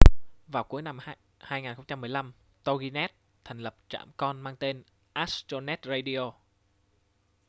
vào cuối năm 2015 toginet thành lập trạm con mang tên astronet radio